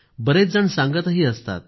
बरेचजण सांगतही असतात